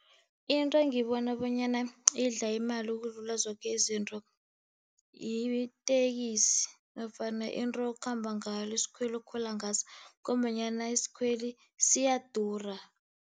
Into engiybona bonyana idla imali ukudlula zoke izinto yiteksi, nofana into okhamba ngayo. Isikhweli okhwela ngaso. Ngombanyana isikhweli siyadura.